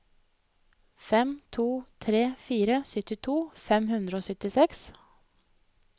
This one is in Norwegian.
fem to tre fire syttito fem hundre og syttiseks